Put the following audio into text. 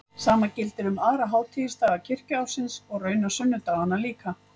Sama gildir um aðra hátíðisdaga kirkjuársins og raunar sunnudagana líka.